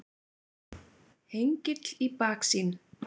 Hengill í baksýn.